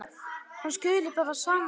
Hann skuli bara sanna til.